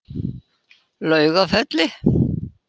Laugafelli